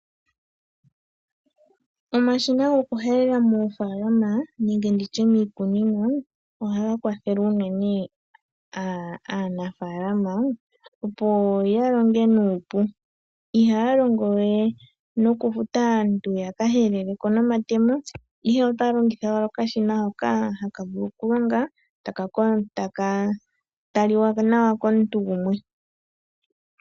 Omashina gokuhelela moofaalama nenge ndi tye miikunino ohaga kwathele unene aanafaalama opo ya longe nuupu. Ihaya longo we nokufuta aantu yakahelele ko nomatemo ashike otaya longitha owala okashina hoka haku vulu okulonga ta ka talika nawa komuntu gumwe.